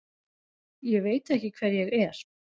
Ég veit ekki hver ég er.